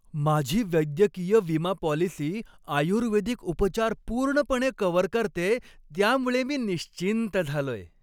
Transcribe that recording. माझी वैद्यकीय विमा पॉलिसी आयुर्वेदिक उपचार पूर्णपणे कव्हर करतेय, त्यामुळं मी निश्चिंत झालोय!